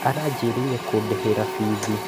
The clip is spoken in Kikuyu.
Aranjĩrĩire kũndĩhĩra biithi